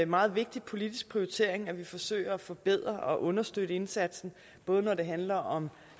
meget vigtig politisk prioritering at vi forsøger at forbedre og understøtte indsatsen både når det handler om